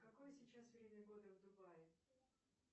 какое сейчас время года в дубае